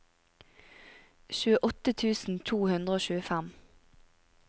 tjueåtte tusen to hundre og tjuefem